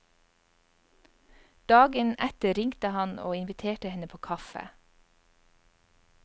Dagen etter ringte han og inviterte henne på kaffe.